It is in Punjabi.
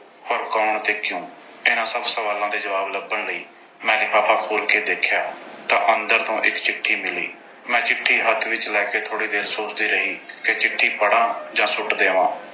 ਪਰ ਕੌਣ ਤੇ ਕਿਉਂ? ਇਨ੍ਹਾਂ ਸਭ ਸਵਾਲਾਂ ਦੇ ਜਵਾਬ ਲੱਭਣ ਲਈ ਮੈਂ ਲਿਫਾਫਾ ਖੋਲ੍ਹ ਕੇ ਦੇਖਿਆ ਤਾਂ ਅੰਦਰ ਤੋਂ ਇੱਕ ਚਿੱਠੀ ਮਿਲੀ। ਮੈਂ ਚਿੱਠੀ ਹੱਥ ਵਿੱਚ ਲੈ ਕੇ ਥੋੜ੍ਹੀ ਦੇਰ ਸੋਚਦੀ ਰਹੀ ਕਿ ਚਿੱਠੀ ਪੜ੍ਹਾਂ ਜਾਂ ਸੁੱਟ ਦੇਵਾਂ।